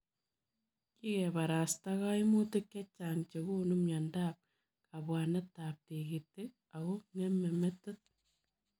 Kikeparastaa kaimutik chechaang chekonuu miondoop kabwaneetab tigitik ako ngemee metit